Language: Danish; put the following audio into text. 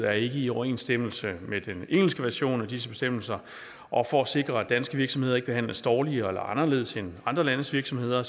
er ikke i overensstemmelse med den engelske version af disse bestemmelser og for at sikre at danske virksomheder ikke behandles dårligere eller anderledes end andre landes virksomheder